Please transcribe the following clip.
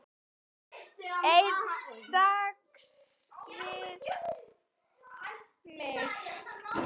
Einn dans við mig